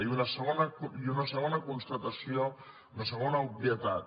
i una segona constatació una segona obvietat